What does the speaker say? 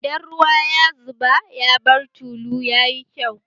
Idan ruwa ya zuba ya bar tulu, yayi kyau